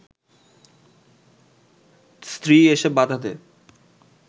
স্ত্রী এসে বাধা দেয়